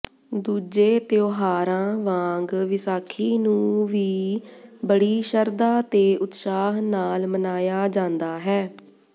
ਦੂਜੇ ਤਿਉਹਾਰਾਂ ਵਾਂਗ ਵਿਸਾਖੀ ਨੂੰ ਵੀ ਬੜੀ ਸ਼ਰਧਾ ਤੇ ਉਤਸ਼ਾਹ ਨਾਲ ਮਨਾਇਆ ਜਾਂਦਾ ਹੈ